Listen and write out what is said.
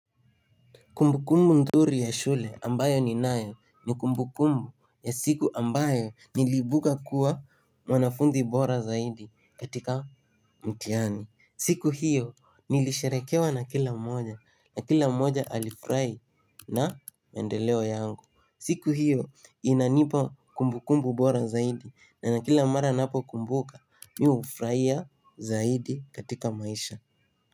Kumbukumbu nzuri ya shule ambayo ni nayo ni kumbukumbu ya siku ambayo niliibuka kuwa mwanafunzi bora zaidi katika mtiani. Siku hiyo nilisherekewa na kila mmoja na kila mmoja alifurahi na maendeleo yangu. Siku hiyo inanipa kumbukumbu bora zaidi na ni kila mara ninapo kumbuka mi ufurahia zaidi katika maisha.